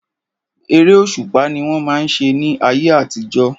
Eré òṣùpá ni wọ́n máa ń ṣe ní ayé àtijọ́.